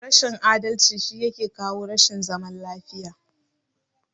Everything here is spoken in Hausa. Rashin adalci shi yake kawo rashin zaman lafiya.